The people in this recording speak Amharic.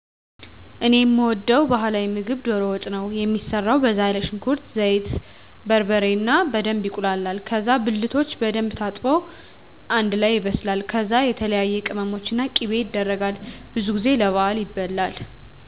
እኔ የምወደዉ የባህላዊ ምግብ ዶሮ ወጥ ነው። የሚሰራው በዛ ያለ ሽንኩርት፣ ዘይት፣ በርበሬ እና በደንብ ይቁላላል ከዛ ብልቶች በደንብ ታጥቦ አንደ ላይ ይበስላል ከዛ የተለያዬ ቅመሞች እና ቂቤ የደረጋል። ብዙ ጊዜ ለባህል ይበላል።